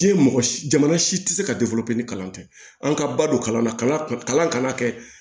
Diɲɛ mɔgɔ si jamana si tɛ se ka ni kalan tɛ an ka balo kalan na kalan kana kɛ